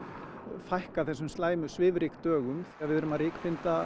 fækka þessum slæmu svifryksdögum við erum að